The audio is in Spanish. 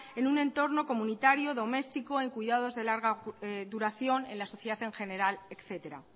en un entorno comunitario doméstico en cuidados de larga duración en la sociedad en general etcétera